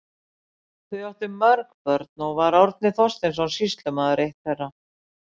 Þau áttu mörg börn og var Árni Þorsteinsson sýslumaður eitt þeirra.